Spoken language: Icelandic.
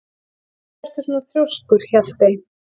Af hverju ertu svona þrjóskur, Hjaltey?